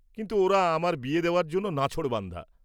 কিন্তু ওঁরা আমার বিয়ে দেওয়ার জন্য নাছোড়বান্দা।